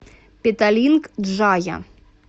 петалинг джая